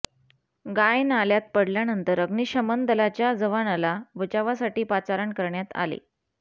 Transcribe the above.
गाय नाल्यात पडल्यानंतर अग्निशमन दलाच्या जवानाला बचावासाठी पाचारण करण्यात आले